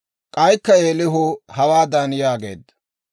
K'aykka Eelihu hawaadan yaageedda,